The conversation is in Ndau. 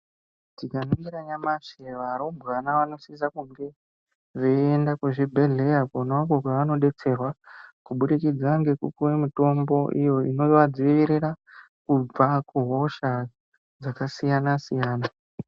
Tikaningira nyamashi varumbwana vanosisa kunge veienda kuchibhedhlera konako kovanobetserwa kubudikidza nekupiwa mitombo iyo inovadzivirira kubva kuhosha dzakasiyana siyana.